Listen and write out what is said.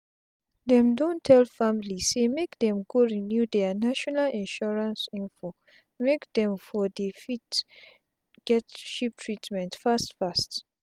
dem don tell family say make dem go renew dia national insurance info make dem for fit dey get cheap treatment fast fast